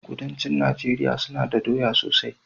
Kudancin nageria suna da doya sosai